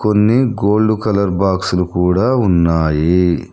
కొన్ని gold colour బాక్సులు కూడా ఉన్నాయి.